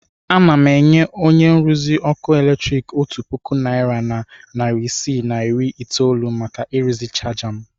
Ana m enye onye nruzi ọkụ eletrik otu puku naịra na narị isii na iri itoolu maka ịrụzi chaja m.